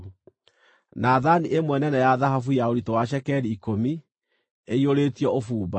na thaani ĩmwe nene ya thahabu ya ũritũ wa cekeri ikũmi, ĩiyũrĩtio ũbumba;